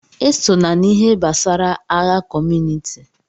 Esona n'ihe gbasara agha kọmunịti!